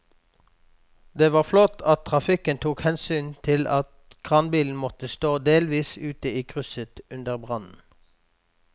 Det var flott at trafikken tok hensyn til at kranbilen måtte stå delvis ute i krysset under brannen.